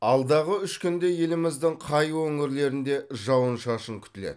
алдағы үш күнде еліміздің қай өңірлерінде жауын шашын күтіледі